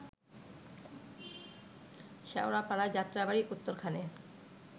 শ্যাওড়াপাড়ায়, Jatrabari, উত্তরখানে